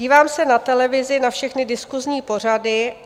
Dívám se na televizi na všechny diskusní pořady.